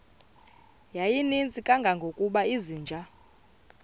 yayininzi kangangokuba izinja